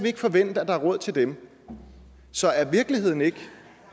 ikke forvente at der er råd til dem så er virkeligheden ikke